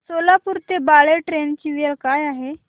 सोलापूर ते बाळे ट्रेन ची वेळ काय आहे